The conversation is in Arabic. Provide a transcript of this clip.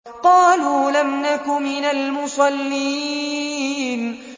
قَالُوا لَمْ نَكُ مِنَ الْمُصَلِّينَ